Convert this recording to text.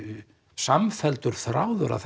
samfelldur þráður af